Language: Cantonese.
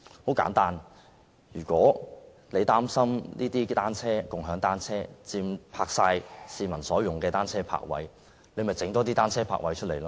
很簡單，如果大家擔心"共享單車"佔用了市民所用的單車泊位，可以增設單車泊位。